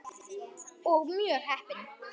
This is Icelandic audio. Og mjög heppin!